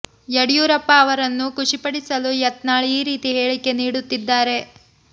ಯಡಿಯೂರಪ್ಪ ಅವರನ್ನು ಖುಷಿ ಪಡಿಸಲು ಯತ್ನಾಳ್ ಈ ರೀತಿ ಹೇಳಿಕೆ ನೀಡುತ್ತಿದ್ದಾರೆ